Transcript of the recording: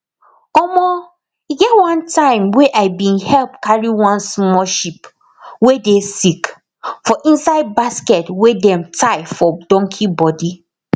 omo e get one time wey i bin help carry one small sheep wey dey sick for inside basket wey dem tie for donkey body